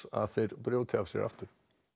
að þeir brjóti af sér aftur